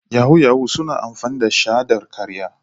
Yahoo yahoo suna amfani da shaidar karya.